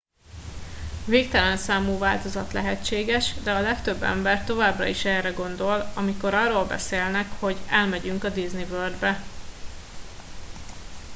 "végtelen számú változat lehetséges de a legtöbb ember továbbra is erre gondol amikor arról beszélnek hogy "elmegyünk a disney world-be"".